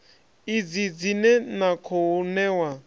idzi dzine na khou ṋewa